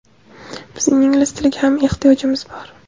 bizning ingliz tiliga ham ehtiyojimiz bor.